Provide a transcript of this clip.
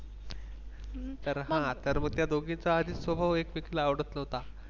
तर हा तर मग त्या दोघीचा आधीच स्वभाव एकमेकींना आवडत नव्हता.